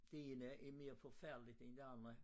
Det ene er mere forfærdeligt end det andet